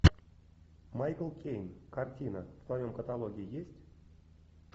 майкл кейн картина в твоем каталоге есть